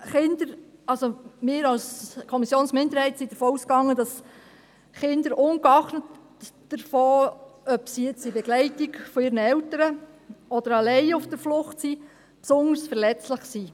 Wir als Kommissionsminderheit gehen davon aus, dass Kinder ungeachtet dessen, ob sie in Begleitung ihrer Eltern oder alleine auf der Flucht sind, besonders verletzlich sind.